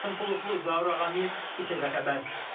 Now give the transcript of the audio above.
Qasım Xuluflu, Zaur Ağamir, İTV Xəbər.